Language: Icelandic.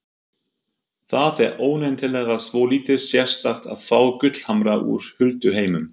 Það er óneitanlega svolítið sérstakt að fá gullhamra úr hulduheimum.